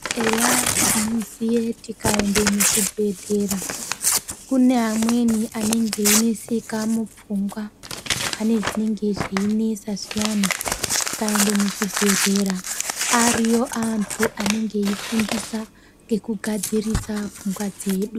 Eya tinoziye tikaenda muzvibhedhlera kune amweni anenge eineseka mupfungwa pane zvinenge zveinesa zviyani. Tikaende muzvibhedhlera ariyo antu anenge eifundisa ngekugadzirisa pfungwa dzedu.